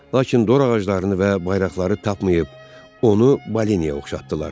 Lakin dor ağaclarını və bayraqları tapmayıb, onu Balinyaya oxşatdılar.